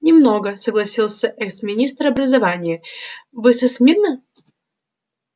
немного согласился экс-министр образования вы со смирно